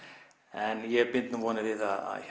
en ég bind nú vonir við